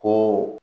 Ko